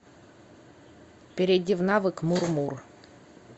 перейди в навык мур мур